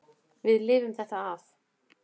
Við lifum þetta af.